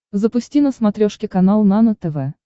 запусти на смотрешке канал нано тв